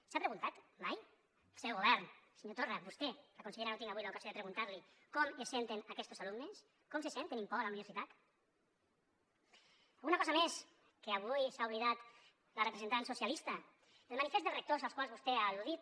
s’ha preguntat mai el seu govern senyor torra vostè a la consellera no tinc avui l’ocasió de preguntar l’hi com es senten aquestos alumnes com se sent tenint por a la universitat alguna cosa més que avui s’ha oblidat la representant socialista el manifest dels rectors als quals vostè ha al·ludit